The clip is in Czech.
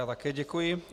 Já také děkuji.